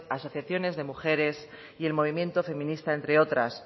asociaciones de mujeres y el movimiento feminista entre otras